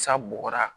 Sa bɔgɔra